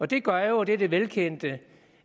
det gør jo og det er det velkendte